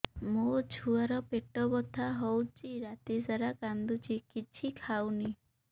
ମୋ ଛୁଆ ର ପେଟ ବଥା ହଉଚି ରାତିସାରା କାନ୍ଦୁଚି କିଛି ଖାଉନି